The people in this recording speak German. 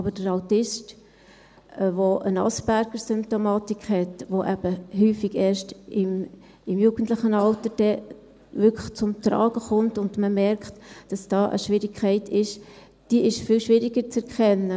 Aber der Autist, der eine Asperger-Symptomatik hat, die häufig erst im jugendlichen Alter zum Tragen kommt, sodass man merkt, dass da eine Schwierigkeit vorhanden ist – das ist viel schwieriger zu erkennen.